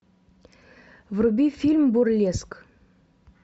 вруби фильм бурлеск